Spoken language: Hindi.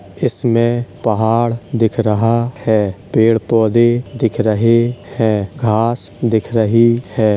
इसमें पहाड़ दिख रहा है पेड़ पौधे दिख रहे हैं घास दिख रही है।